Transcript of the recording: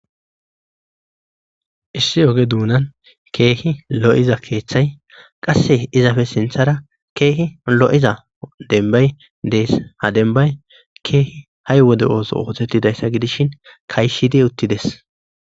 issi oge duunan keehi lo7iza keeththay qasse izafe sinthara keehi lo7iza denbay dees ha dembay keehi hay wode ooso ootettidayssa gidishin kayshidi uttides